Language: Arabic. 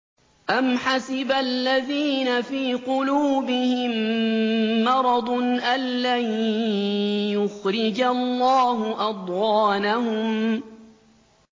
أَمْ حَسِبَ الَّذِينَ فِي قُلُوبِهِم مَّرَضٌ أَن لَّن يُخْرِجَ اللَّهُ أَضْغَانَهُمْ